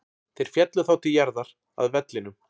Þeir féllu þá til jarðar, að vellinum.